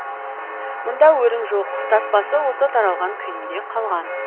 мұнда өрім жоқ таспасы осы таралған күйінде қалған